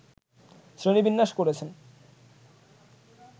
শ্রেণীবিন্যাস করেছেন